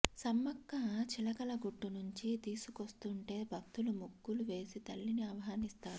సమ్మక్క చిలకలగుట్టు నుంచి తీసుకొస్తుంటే భక్తులు ముగ్గులు వేసి తల్లిని ఆహ్వానిస్తారు